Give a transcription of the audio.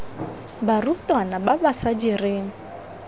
barutwana ba ba sa direng